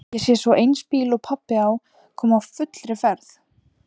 Ég sé svo eins bíl og pabbi á koma á fullri ferð.